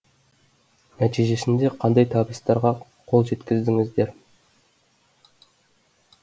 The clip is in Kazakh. нәтижесінде қандай табыстарға қол жеткіздіңіздер